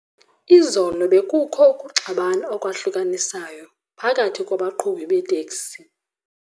Izolo bekukho ukuxabana okwahlukanisayo phakathi kwabaqhubi beeteksi.